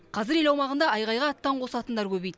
қазір ел аумағында айғайға аттан қосатындар көбейді